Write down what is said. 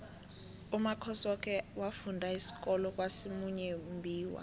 umakhosoke wafunda isikolo kwasimuyembiwa